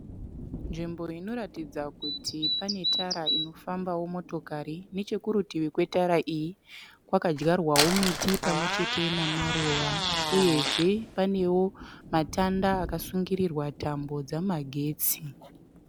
Nzvimbo inoratidza kuti pane tara inofambawo motokari. Chekurutivi kwetara iyi kwakadyarwawo miti pamwechete nemaruva. Uyezve panewo matanda akasungirirwa tambo dzamagetsi.